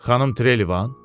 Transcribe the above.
Xanım Trelevan?